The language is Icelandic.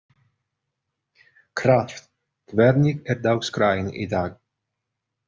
Hrafn, hvernig er dagskráin í dag?